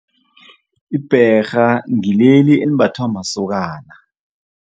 Ibherha ngileli elimbathwa masokana.